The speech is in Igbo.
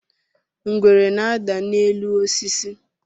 ngwere na-ada n'elu osis